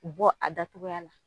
U bɔ a da cogoya la.